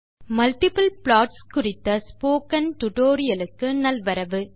hello நண்பர்களே multiple plots குறித்த spoken tutorial க்கு நல்வரவு